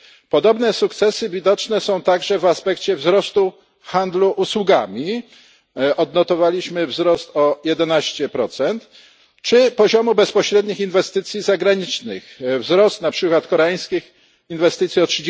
Podobne sukcesy widoczne są także w aspekcie wzrostu handlu usługami odnotowaliśmy wzrost o 11 czy poziomu bezpośrednich inwestycji zagranicznych wzrost koreańskich inwestycji o